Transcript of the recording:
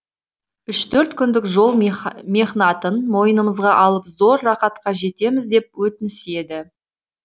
үш төрт күндік жол мехнатын мойнымызға алып зор рақатқа жетеміз деп өтініседі